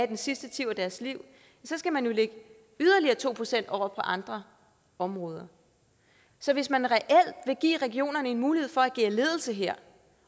den sidste del af deres liv så skal man jo lægge yderligere to procent over på andre områder så hvis man reelt vil give regionerne en mulighed for at agere ledelse her